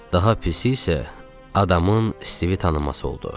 Daha pisi isə adamın Stivi tanıması oldu.